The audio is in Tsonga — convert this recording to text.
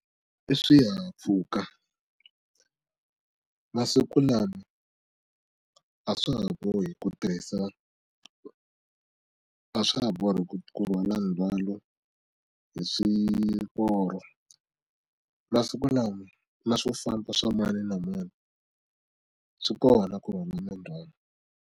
I swihahampfhuka masiku lama a swa ha bohi ku tirhisa a swa ha bohi ku rhwala ndzhwalo hi swiporo masiku lama na swo famba swa mani na mani swi kona ku rhwala ndzhwalo.